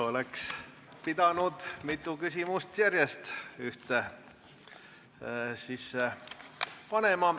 Oleks pidanud siis mitu küsimust järjest ühte panema.